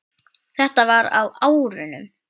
Þetta var á árunum